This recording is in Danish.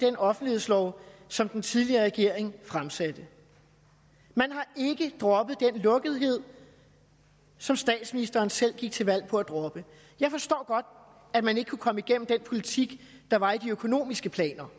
offentlighedslov som den tidligere regering fremsatte man har ikke droppet den lukkethed som statsministeren selv gik til valg på at droppe jeg forstår godt at man ikke kunne komme igennem med den politik der var i de økonomiske planer